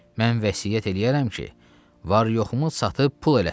Mən vəsiyyət eləyərəm ki, var-yoxumu satıb pul eləsinlər.